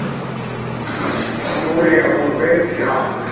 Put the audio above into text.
Júlía fór beint í háttinn.